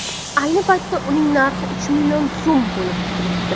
ayni paytda uning narxi uch million so‘m bo‘lib turibdi.